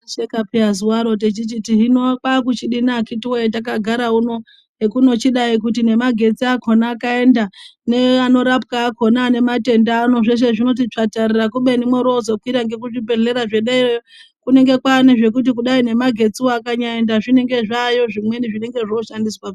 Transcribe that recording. Tai shekapi zuva roo tichiti hino kwa kuchidini akati wee taka gara uno hekuno chidai kuti ne magetsi akona akaenda ne ano rapwa akona ane matenda ano zveshe zvinoti tsvatarara kubeni mwori wozo kwira ngeku zvibhedhlera zve derayo kunenge kwane zvekuti kudai ne magetsi woo anyaka enda zvinenge zvayo zvimweni zvinenge zvo shandiswa.